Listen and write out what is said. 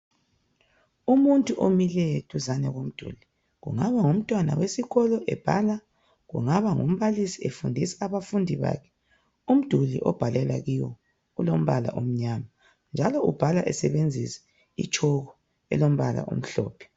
Umuntu omileyo duzane komduli kungaba ngumtwana wesikolo omileyo ebhala, kungaba ngumbalisi efundisa abafundi bakhe. Umduli obhalela kiwo ulombala omnyama. Njalo ubhala esebenzisa itshoko elombala omhlophe.